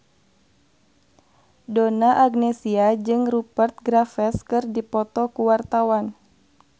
Donna Agnesia jeung Rupert Graves keur dipoto ku wartawan